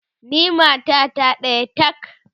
ni matata ɗaya tak!